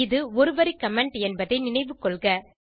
இது ஒரு வரி கமெண்ட் என்பதை நினைவுக்கொள்க